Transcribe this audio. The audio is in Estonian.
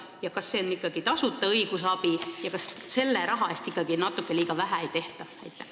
Ning kas see on ikka tasuta õigusabi ja kas selle raha eest natuke liiga vähe ei tehta?